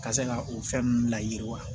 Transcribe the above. Ka se ka o fɛn ninnu layiriwa